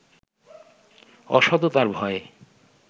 অসততার ভয়ে